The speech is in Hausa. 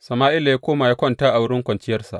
Sama’ila ya koma ya kwanta a wurin kwanciyarsa.